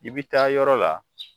I bɛ taa yɔrɔ la